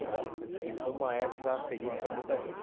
Então, e foi uma época feliz para muita gente.